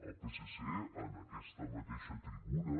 el psc en aquesta mateixa tribuna